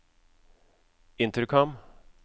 intercom